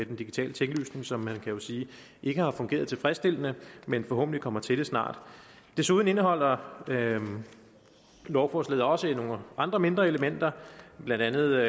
den digitale tinglysning som man vel kan sige ikke har fungeret tilfredsstillende men forhåbentlig kommer til det snart desuden indeholder lovforslaget også nogle andre mindre elementer blandt andet